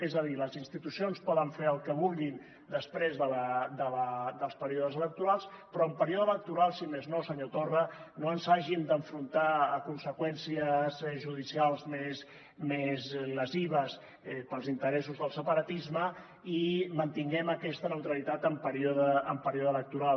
és a dir les institucions poden fer el que vulguin després dels períodes electorals però en període electoral si més no senyor torra no ens hàgim d’enfrontar a conseqüències judicials més lesives pels interessos del separatisme i mantinguem aquesta neutralitat en període electoral